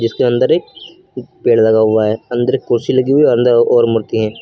जिसके अंदर एक पेड़ लगा हुआ है अंदर कुर्सी लगी हुई अंदर और मूर्ति है।